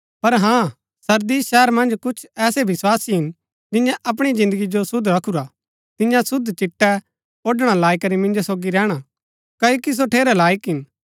पर हाँ सरदीस शहर मन्ज कुछ ऐसै विस्वासी हिन जियें अपणी जिन्दगी जो शुद्ध रखुरा हा तिन्या शुद्ध चिट्टै ओड़णा लाई करी मिन्जो सोगी रैहणा क्ओकि सो ठेरै लायक हिन